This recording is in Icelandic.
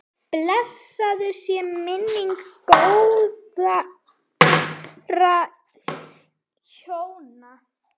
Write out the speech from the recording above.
Blessuð sé minning góðra hjóna.